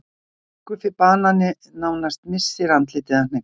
Guffi banani nánast missir andlitið af hneykslun.